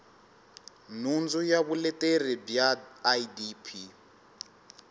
nhundzu ya vuleteri bya idp